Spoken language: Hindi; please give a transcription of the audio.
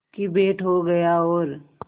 की भेंट हो गया और